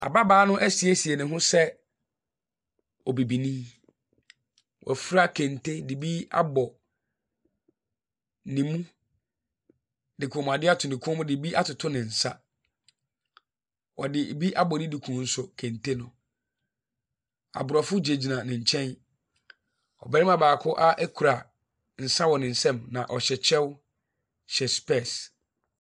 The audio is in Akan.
Ababaa no asiesie ne ho sɛ obibini. Wafura kente de bi abɔ ne mu de kɔmmuadeɛ ato ne kɔn mu de bi atoto ne nsa. Ɔde bi abɔ ne duku nso, kente no. Aborɔfo gyinagyina ne nkyɛn. Ɔbarima baako a kura nsa wɔ ne nsam na ɔhyɛ kyɛw hyɛ specs.